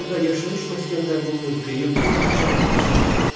Finikiyada yaşayış məskənlərinin mövqeyi olduqca əlverişli idi.